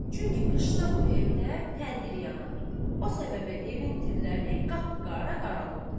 Çünki qışda bu evdə təndir yanar, o səbəbə evin tirləri qapqara qaralıbdır.